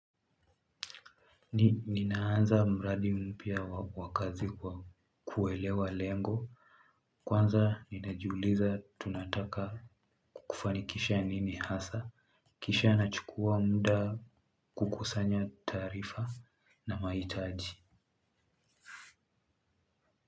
Ninaanza mradi mpia wa kazi kwa kuwelewa lengo. Kwanza ninajuuliza tunataka kufanikisha nini hasa. Kisha nachukua munda kukusanya tarifa na maitaji.